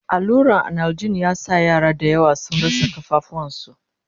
alluran analjin ya sa yara da yawa sun rasa kafafuwan su